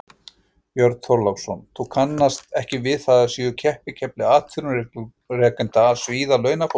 Björn Þorláksson: Þú kannast ekki við að það sé keppikefli atvinnurekenda að svíða launafólk?